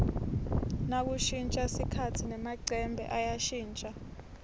nakushintja sikhatsi nemacembe ayashintja